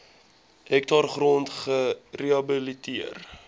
hektaar grond gerehabiliteer